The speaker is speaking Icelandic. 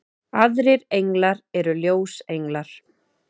aðrir englar eru ljósenglar